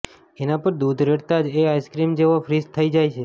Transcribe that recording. એના પર દૂધ રેડતાં જ એ આઇસ્ક્રીમ જેવો ફ્રીઝ થઈ જાય છે